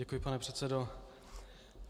Děkuji, pane předsedo.